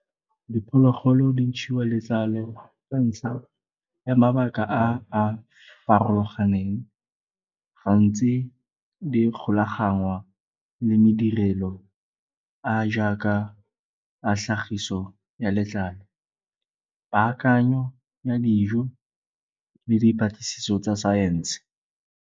Diphologolo di ntshiwa letlalo ka ntlha ya mabaka a a farologaneng. Gantsi di golagangwa le me direlo a a jaaka tlhagiso ya letlalo, paakanyo ya dijo le dipatlisiso tsa science.